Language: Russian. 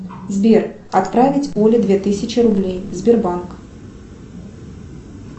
сбер отправить оле две тысячи рублей сбербанк